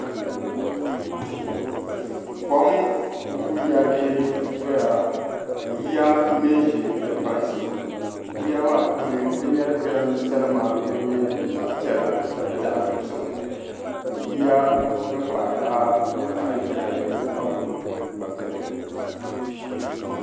Kom n-ku yɛrigi dɔya ka yiya me m-baɣi di kpansi. Yiya maa puuni ti nyari jidambiisanima din nyɛ zaɣ' piɛla ni zaɣ' dozim ka yiya din kpahi taha zaɣ' ʒiɛhi ni zaɣ' buluu gba beni.